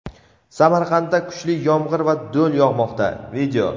Samarqandda kuchli yomg‘ir va do‘l yog‘moqda.